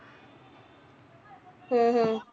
ਹਮ ਹਮ